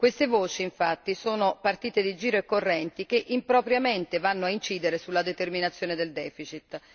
Queste voci, infatti, sono partite di giro e correnti che impropriamente vanno a incidere sulla determinazione del deficit.